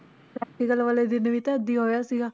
Practical ਵਾਲੇ ਦਿਨ ਵੀ ਤਾਂ ਏਦਾਂ ਹੀ ਹੋਇਆ ਸੀਗਾ।